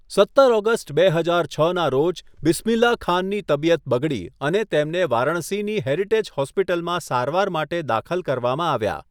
સત્તર ઓગસ્ટ બે હજાર છ ના રોજ, બિસ્મિલ્લાહ ખાનની તબિયત બગડી અને તેમને વારાણસીની હેરિટેજ હોસ્પિટલમાં સારવાર માટે દાખલ કરવામાં આવ્યા.